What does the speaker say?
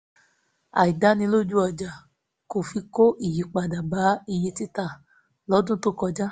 àìdánilójú ọjà kọfí kó ìyípadà bá iye tita lọ́dún tó kọjá